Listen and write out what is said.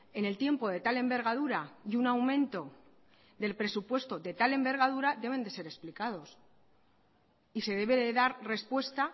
en el tiempo de tal envergadura y un aumento del presupuesto de tal envergadura deben de ser explicados y se debe de dar respuesta